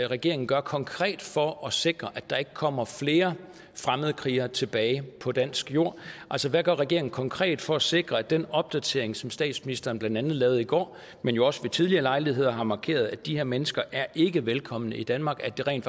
regeringen gør konkret for at sikre at der ikke kommer flere fremmedkrigere tilbage på dansk jord altså hvad gør regeringen konkret for at sikre at den opdatering som statsministeren blandt andet lavede i går men også ved tidligere lejligheder har markeret om at de her mennesker ikke er velkomne i danmark rent